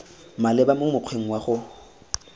maleba mo mokgweng wa go